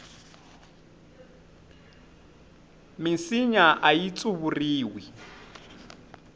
minsinya ayi tsuvuriwi